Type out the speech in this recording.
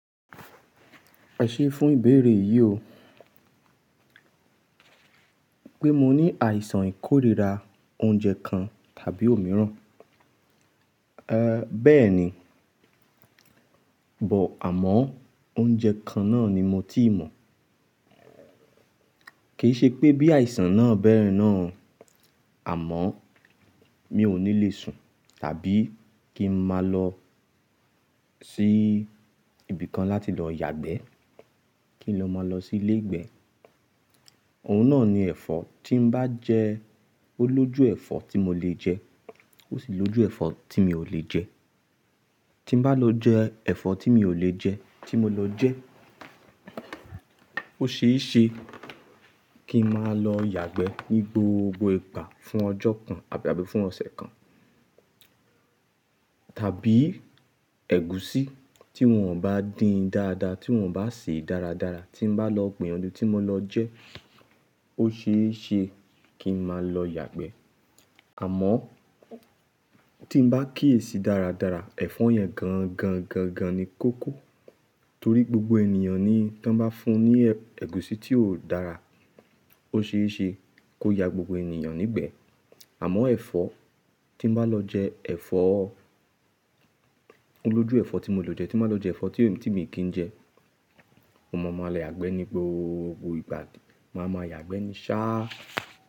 Ẹ ṣé fún ìbéèrè yìí o. Pé mo ní àìsàn ìkórìíra oúnjẹ kan tàbí òmíràn. Ee bẹ́ẹ̀ni, but àmọ́ oúnjẹ kan náà ni mo ti mọ̀. Kì í ṣe pé bí àìsàn náà bẹ́rẹ́ náà, àmọ́ mi ò ní le sùn tàbí kí n máa lọ sí ibi kan láti lọ yàgbẹ́ kí n máa lọ sí ilé ìgbẹ́. Òun náà ni ẹ̀fọ́, tí n bá jẹ́ olójú ẹ̀fọ́ tí mo lè jẹ́, ó sì lójú ẹ̀fọ́ tí mi ò lè jẹ́. Tí n bá lọ jẹ ẹ̀fọ́ tí mi ò lè jẹ́ tí mo lọ jẹ́, ó ṣeé ṣe kí n máa lọ yàgbẹ́ ní gbogbo ìgbà fún ọjọ́ kan àbí àbí fún ọ̀sẹ̀ kan. Tàbí ẹ̀gúsí tí wọ́n bá dín dáadáa tí wọ́n bá sè dáradára tí n bá lọ gbiyanju tí mo lọ jẹ́, ó ṣeé ṣe kí n máa lọ yàgbẹ́. Àmọ́ tí n bá kíyèsi dáradára ẹ̀fọ́ yẹn gan gan gan gan ni kó kò. Torí gbogbo ènìyàn ni tí wọ́n bá fún ní ẹ̀gúsí tí ó dára ó ṣeé ṣe kó ya gbogbo ènìyàn nígbẹ̀ẹ́. Àmọ́ ẹ̀fọ́ tí n bá lọ jẹ ẹ̀fọ́, olójú ẹ̀fọ́ tí mo lè jẹ́ tí n bá lọ jẹ ẹ̀fọ́ tí mi kì í jẹ, mo máa ma le yàgbẹ́ ní gbogbo ìgbà, máa ma yàgbẹ́ ní sá.